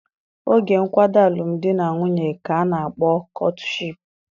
Oge nkwado alụmdi na nwunye ka a na-akpọ kọtụshịịpu.